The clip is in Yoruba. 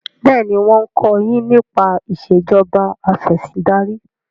béèni wón ko yín nípa Ìṣèjọba Afẹ̀sìndarí.